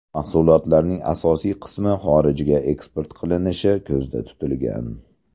Mahsulotlarning asosiy qismi xorijga eksport qilinishi ko‘zda tutilgan.